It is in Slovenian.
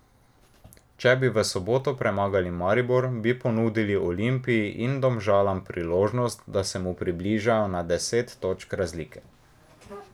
Če bi v soboto premagali Maribor, bi ponudili Olimpiji in Domžalam priložnost, da se mu približajo na deset točk razlike.